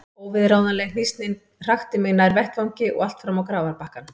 Óviðráðanleg hnýsnin hrakti mig nær vettvangi og allt fram á grafarbakkann.